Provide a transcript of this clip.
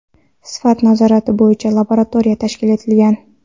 sifat nazorati bo‘yicha laboratoriyalar tashkil etilgan.